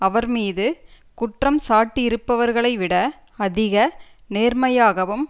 அவர் மீது குற்றம் சாட்டியிருப்பவர்களைவிட அதிக நேர்மையாகவும்